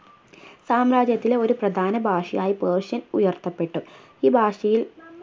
സാമ്രാജ്യത്തിൽ ഒരു പ്രധാന ഭാഷയായി persian ഉയർത്തപ്പെട്ടു ഈ ഭാഷയിൽ